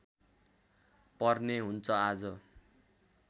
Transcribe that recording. पर्ने हुन्छ आज